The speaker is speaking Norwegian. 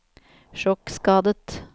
sjokkskadet